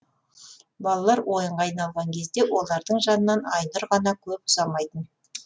балалар ойынға айналған кезде олардың жанынан айнұр ғана көп ұзамайтын